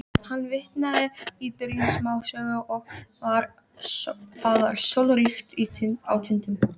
Hann vitnaði í byrjun smásögu: Það var sólríkt á Tindum.